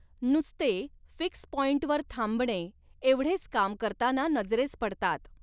नुसते फिक्स पॉंईटवर थांबणे एवढेच काम करताना नजरेस पडतात.